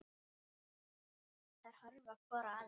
Þær horfa hvor á aðra.